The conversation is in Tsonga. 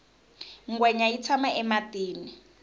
ngwenya yi tshama ematini